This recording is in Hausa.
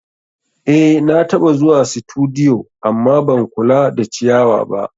Eh nataba zuwa situdiyu amma ban kula da ciyawa ba